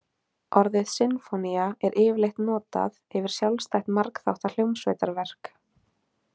Orðið sinfónía er yfirleitt notað yfir sjálfstætt margþátta hljómsveitarverk.